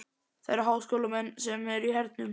Það eru háskólamenn sem eru í hernum.